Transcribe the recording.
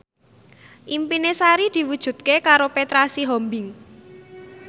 impine Sari diwujudke karo Petra Sihombing